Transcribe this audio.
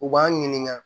U b'an ɲininka